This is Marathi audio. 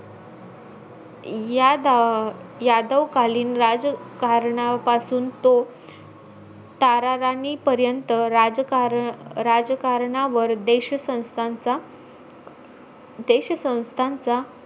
यादा यादवकालीन राजकारणापासून तो ताराराणी पर्यंत राजकार राजकारणावर देशसंस्थाचा देशसंस्थाचा,